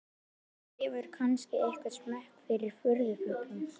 Hann hefur kannski einhvern smekk fyrir furðufuglum.